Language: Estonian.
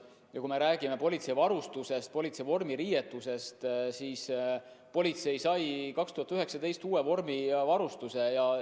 Ja kui me räägime politsei varustusest, politsei vormiriietusest, siis politsei sai aastal 2019 uue vormivarustuse.